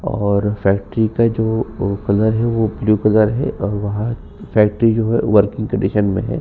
और फैक्ट्री का जो ओ कलर है ओ ब्लू कलर और वहाँ फैक्ट्री जो है वर्किंग कन्डिशन में है।